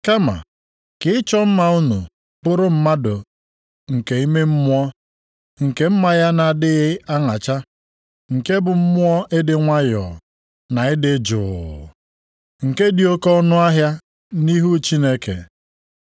Kama, ka ịchọ mma unu bụrụ mmadụ nke ime mmụọ, nke mma ya na-adịghị aṅacha, nke bụ mmụọ ịdị nwayọọ na ịdị juu. Nke dị oke ọnụahịa nʼihu Chineke.